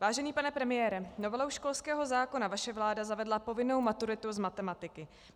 Vážený pane premiére, novelou školského zákona vaše vláda zavedla povinnou maturitu z matematiky.